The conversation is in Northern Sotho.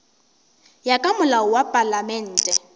ya ka molao wa palamente